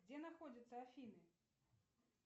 где находятся афины